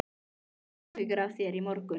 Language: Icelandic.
Ég hafði áhyggjur af þér í morgun.